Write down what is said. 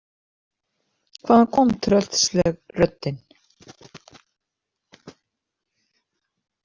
Hvaðan kom tröllsleg röddin?